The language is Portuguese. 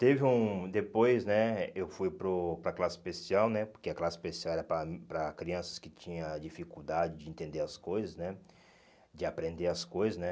Teve um, depois, né, eu fui para o para a classe especial, né, porque a classe especial era para para crianças que tinham dificuldade de entender as coisas, né, de aprender as coisas, né.